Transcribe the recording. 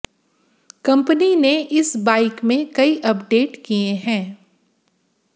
company ने इस bike में कई अपडेट किए है